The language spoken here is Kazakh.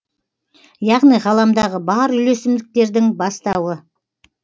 яғни ғаламдағы бар үйлесімдіктердің бастауы